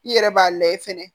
I yɛrɛ b'a layɛ fɛnɛ